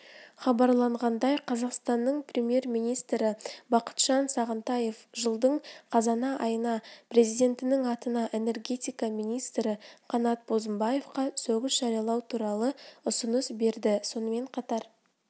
хабарланғандай қазақстанның премьер-министрібақытжан сағынтаев жылдың қазана айында президентінің атына энергетика министрі қанат бозымбаевқа сөгіс жариялау туралы ұсыныс берді сонымен қатар